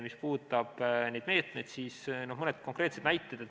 Mis puudutab neid meetmeid, siis mõned konkreetsed näited.